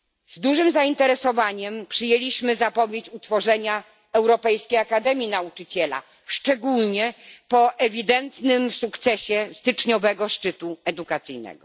Z dużym zainteresowaniem przyjęliśmy zapowiedź utworzenia Europejskiej Akademii Nauczyciela, szczególnie po ewidentnym sukcesie styczniowego szczytu edukacyjnego.